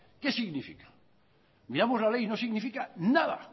qué significa miramos la ley y no significa nada